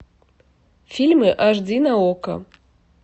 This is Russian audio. фильмы аш ди на окко